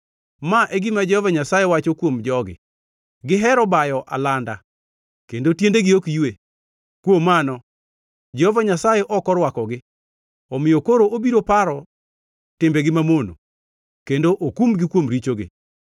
Ma e gima Jehova Nyasaye wacho kuom jogi: “Gihero bayo alanda kendo tiendegi ok ywe. Kuom mano, Jehova Nyasaye ok orwakogi; omiyo koro obiro paro timbegi mamono, kendo okumgi kuom richogi.”